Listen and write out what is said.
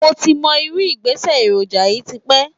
Mo ti mọ irú ìgbésẹ̀ èròjà yìí tipẹ́